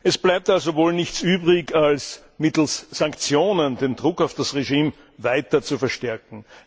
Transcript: Es bleibt also wohl nichts übrig, als mittels Sanktionen den Druck auf das Regime weiter zu verstärken.